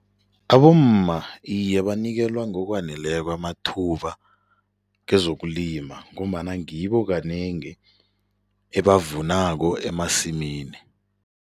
Abomma iye banikelwa ngokwaneleko amathuba kezokulima ngombana ngibo kanengi ebavunako emasimini.